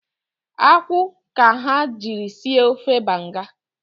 Akwụ ka ha jiri sie ofe banga